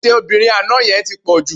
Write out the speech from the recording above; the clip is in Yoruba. Ètè obìnrin àná yẹn ti pọ̀ jù